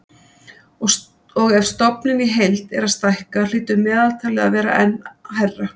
Og ef stofninn í heild er að stækka hlýtur meðaltalið að vera enn hærra.